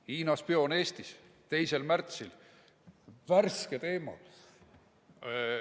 Hiina spioon Eestis – 2. märtsil, värske teema.